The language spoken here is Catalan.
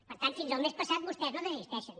per tant fins al mes passat vostès no desisteixen